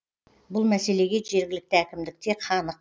бұл мәселеге жергілікті әкімдік те қанық